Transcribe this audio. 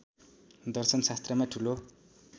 दर्शन शास्त्रमा ठुलो